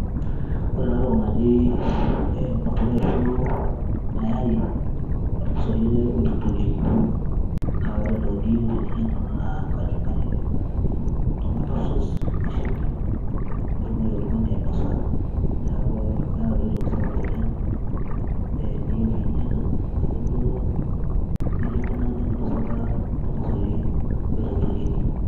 ore ena toki naji mutura ashu mayai ormosori ele oitokitokieki . naa ore entoki niyieu teninya ena naa kachumbari ake o tomato sause oshimbi pitumoki oltungani ainosa . niaku meeta duoaitoki sapuk oleng niyieu pinya enake duo nejia nkunaki enkinosata olmosori oitokitokieki